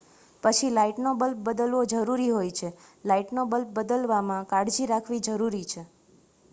પછી લાઇટનો બલ્બ બદલવો જરૂરી હોય છે લાઇટનો બલ્બ બદલવામાં કાળજી રાખવી જરૂરી છે